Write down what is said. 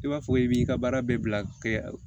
I b'a fɔ i b'i ka baara bɛɛ bila kɛ